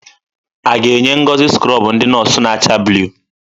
A ga-enye Ngozi skrọbụ ndị nọọsụ na-acha blụu?